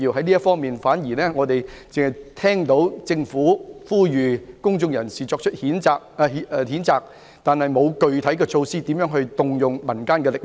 在這方面，我們只聽到政府呼籲公眾人士作出譴責，但卻沒有具體措施如何發動民間力量。